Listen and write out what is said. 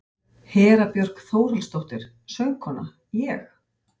Hera Björk Þórhallsdóttir, söngkona: Ég?